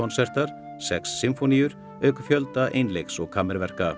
einleikskonsertar sex sinfóníur auk fjölda einleiks og